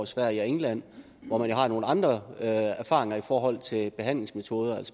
sverige og england hvor man har nogle andre erfaringer i forhold til behandlingsmetoder